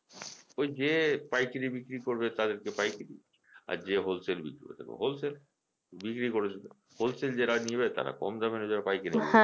ওই যে পাইকারি বিক্রি করবে তাদেরকে পাইকারি আর যে whole sale বিক্রি করে থাকবে whole sale বিক্রি করে দেবে whole sale নেবে যারা তারা কম দামে নিয়ে যাবে পাইকারি